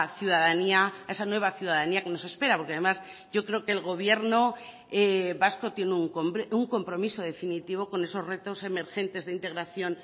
ciudadanía a esa nueva ciudadanía que nos espera porque además yo creo que el gobierno vasco tiene un compromiso definitivo con esos retos emergentes de integración